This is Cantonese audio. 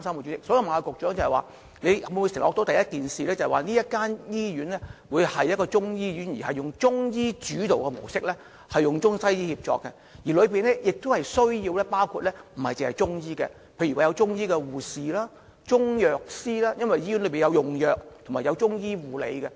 主席，局長可否承諾，首先，這間中醫醫院會以中醫主導及中西醫協作模式運作，除中醫外，當中亦需包括例如是中醫護士及中藥師，因為醫院需要用藥及中醫護理。